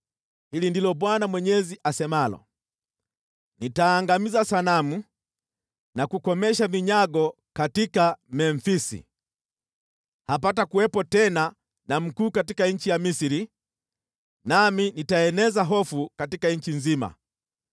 “ ‘Hili ndilo Bwana Mwenyezi asemalo: “ ‘Nitaangamiza sanamu na kukomesha vinyago katika Memfisi Hapatakuwepo tena na mkuu katika nchi ya Misri, nami nitaeneza hofu katika nchi nzima.